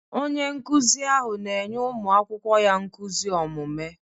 Onye nkụzi ahụ na-enye ụmụ akwụkwọ ya nkuzi omume.